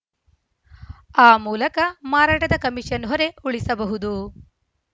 ಆ ಮೂಲಕ ಮಾರಾಟದ ಕಮಿಷನ್‌ ಹೊರೆ ಉಳಿಸಬಹುದು